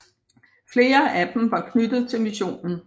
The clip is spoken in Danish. Flere af dem var knyttet til missionen